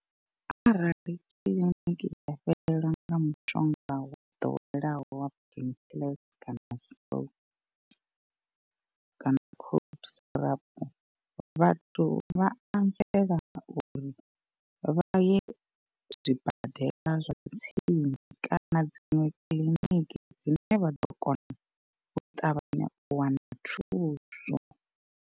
Arali kiḽiniki ya fhelelwa nga mushonga wa ḓoweleaho wa painkiller kana so kana cold syrup, vhathu vha anzela uri vha ye zwibadela zwa tsini kana dziṅwe kiḽiniki dzine vha ḓo kona u ṱavhanya u wana thuso.